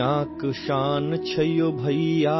ہندوستان دنیا کی شان ہے بھیا،